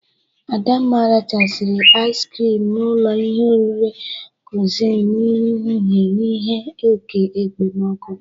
Adamma rachara ais krịm na ụlọ ihe oriri krọnchịz n'ehihe n'ihe oke ekpemoku.